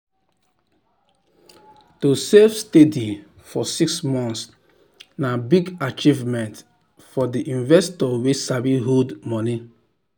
to save steady for six months na big achievement for the investor wey sabi hold money.